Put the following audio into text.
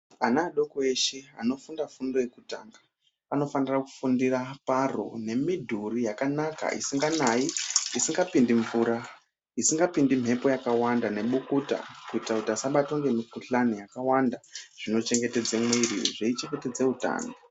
Ana adoko eshe anofunda fundo yekutanga anofana kufundira paro nemidhuri yakanaka isinganayi isingapindi mvura, isingapindi mhepo yakawanda nebukuta kuita kuti asabatwe nemikhuhlane yakawanda zvinochengetedze mwiri zveichengetedza utano.